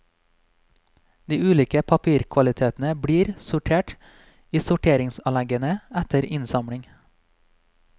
De ulike papirkvalitetene blir sortert i sorteringsanleggene etter innsamling.